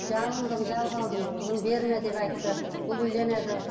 жалындым жалбарындым қызым берме деп айтты бұл үйленеді